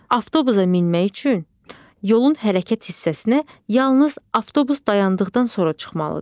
Avtobusa minmək üçün yolun hərəkət hissəsinə yalnız avtobus dayandıqdan sonra çıxmalıdır.